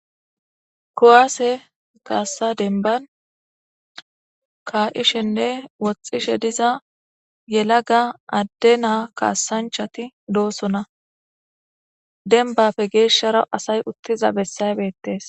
Kuwasse kassa denbbn yallaga kassancha naytti de77osonna dembappe gesharra asay uttidda bessay bettees